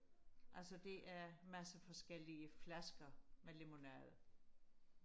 altså det er masse forskellige flasker med lemonade